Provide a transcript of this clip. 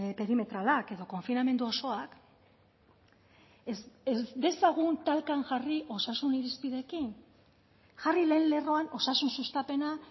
perimetralak edo konfinamendu osoak ez dezagun talkan jarri osasun irizpideekin jarri lehen lerroan osasun sustapena